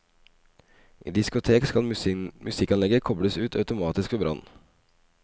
I diskotek skal musikkanlegget kobles ut automatisk ved brann.